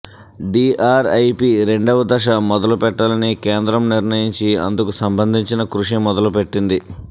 DRIP రెండవ దశ మొదలు పెట్టాలని కేంద్రం నిర్ణయించి అందుకు సంబంధించిన కృషి మొదలు పెట్టింది